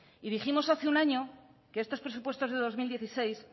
y dijimos hace un año que estos presupuestos de dos mil dieciséis